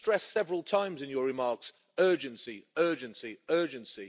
You stressed several times in your remarks urgency, urgency, urgency.